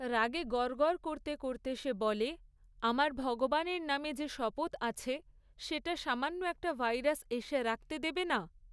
রাগে গরগর করতে করতে সে বলে, আমার ভগবানের নামে যে শপথ আছে, সেটা সামান্য একটা ভাইরাস এসে রাখতে দেবে না?